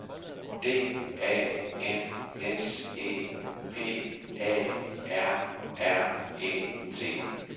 D A N S E P A R R E T